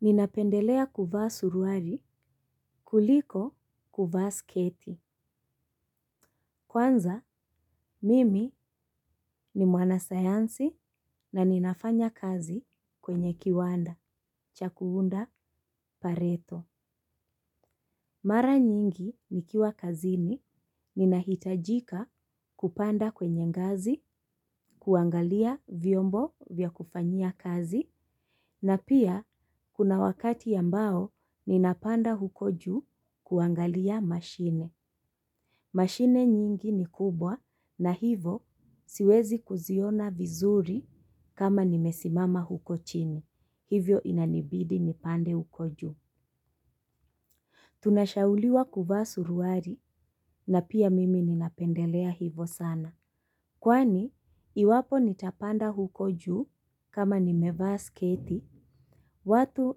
Ninapendelea kuvaa suruari, kuliko kuvaa sketi. Kwanza, mimi ni mwana sayansi na ninafanya kazi kwenye kiwanda, cha kuunda pareto. Mara nyingi nikiwa kazini, ninahitajika kupanda kwenye ngazi, kuangalia vyombo vya kufanyia kazi, na pia, kuna wakati ambao ninapanda huko juu kuangalia mashine. Mashine nyingi ni kubwa na hivo siwezi kuziona vizuri kama nimesimama huko chini. Hivyo inanibidi nipande huko juu. Tunashauliwa kuvaa suruari na pia mimi ninapendelea hivo sana. Kwani, iwapo nitapanda huko juu kama nimevaa sketi watu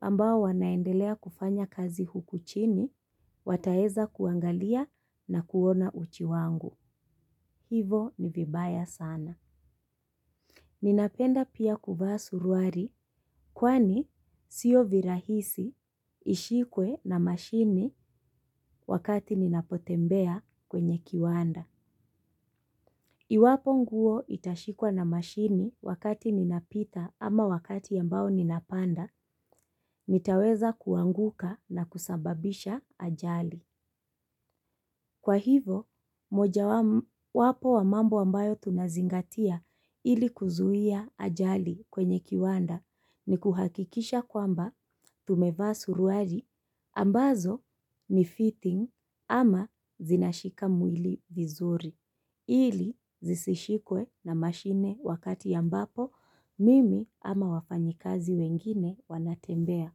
ambao wanaendelea kufanya kazi huku chini, wataeza kuangalia na kuona uchi wangu. Hivo ni vibaya sana. Ninapenda pia kuvaa suruari kwani sio virahisi ishikwe na mashini wakati ninapotembea kwenye kiwanda. Iwapo nguo itashikwa na mashini wakati ninapita ama wakati ambao ninapanda nitaweza kuanguka na kusababisha ajali. Kwa hivo, moja wapo wa mambo ambayo tunazingatia ili kuzuia ajali kwenye kiwanda ni kuhakikisha kwamba tumevaa suruari ambazo ni fitting ama zinashika mwili vizuri. Ili zisishikwe na mashine wakati ambapo mimi ama wafanyikazi wengine wanatembea.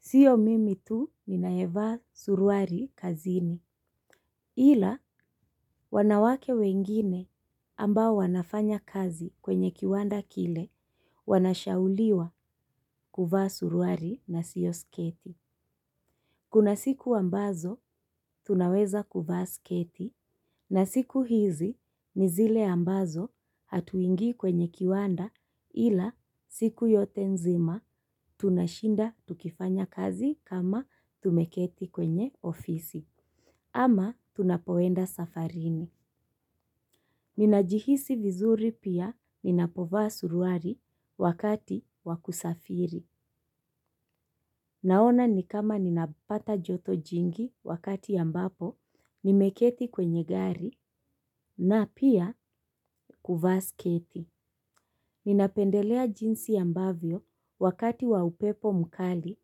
Sio mimi tu ninayevaa suruari kazini ila wanawake wengine ambao wanafanya kazi kwenye kiwanda kile wanashauliwa kuvaa suruari na sio sketi. Kuna siku ambazo tunaweza kuvaa sketi na siku hizi ni zile ambazo hatuingii kwenye kiwanda ila siku yote nzima tunashinda tukifanya kazi kama tumeketi kwenye ofisi. Ama tunapoenda safarini. Ninajihisi vizuri pia ninapovaa suruari wakati wa kusafiri. Naona nikama ninapata joto jingi wakati ambapo nimeketi kwenye gari na pia kuvaa sketi. Ninapendelea jinsi ambavyo wakati wa upepo mkali,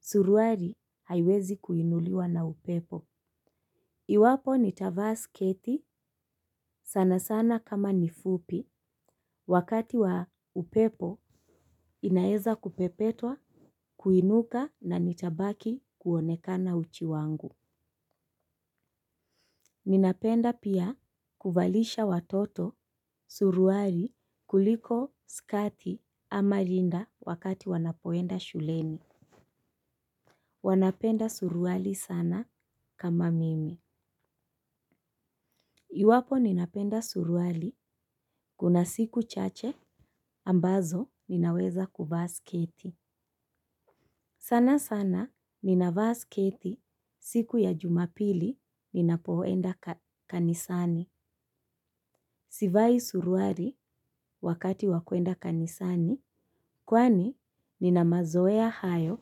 suruari haiwezi kuinuliwa na upepo. Iwapo nitavaa sketi sana sana kama ni fupi wakati wa upepo inaeza kupepetwa kuinuka na nitabaki kuonekana uchi wangu. Ninapenda pia kuvalisha watoto suruari kuliko skati ama rinda wakati wanapoenda shuleni. Wanapenda suruari sana kama mimi. Iwapo ninapenda suruari kuna siku chache ambazo ninaweza kuvaa sketi. Sana sana ninavaa sketi siku ya jumapili ninapoenda kanisani. Sivai suruari wakati wa kuenda kanisani kwani nina mazoea hayo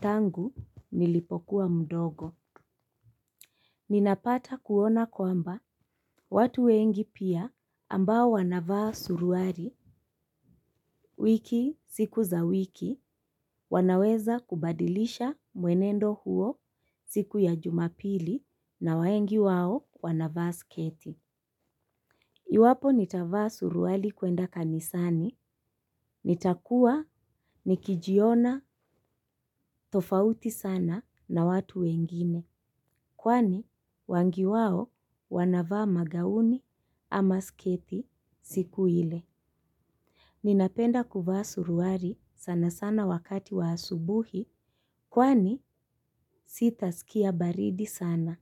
tangu nilipokuwa mdogo. Ninapata kuona kwamba watu wengi pia ambao wanavaa suruari wiki siku za wiki wanaweza kubadilisha mwenendo huo siku ya jumapili na waengi wao wanavaa sketi. Iwapo nitavaa suruali kuenda kanisani, nitakuwa nikijiona tofauti sana na watu wengine, kwani wangi wao wanavaa magauni ama sketi siku ile. Ninapenda kuvaa suruari sana sana wakati wa asubuhi, kwani sitaskia baridi sana.